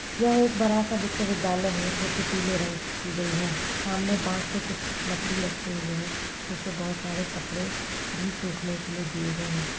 यह एक बड़ा सा विश्वविद्यालय है जो कि पीले रंग की गई है सामने बाँस के कुछ लकड़ी रखे हुए हैं जिसपे बहोत सारे कपड़े भी सूखने के लिए दिए गए हैं।